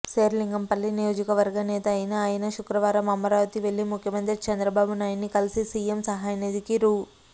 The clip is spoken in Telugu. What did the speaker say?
శేరిలింగంపల్లి నియోజకవర్గ నేత అయిన ఆయన శుక్రవారం అమరావతి వెళ్లి ముఖ్యమంత్రి చంద్రబాబునాయుడిని కలిసి సీఎం సహాయనిధికి రూ